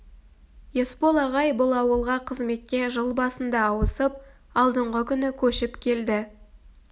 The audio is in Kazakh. есбол ағай бұл ауылға қызметке жыл басында ауысып алдыңғы күні көшіп келді